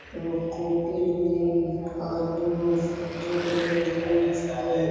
एगो कॉपी ले ले हई आदमी सब और तीनगो छै।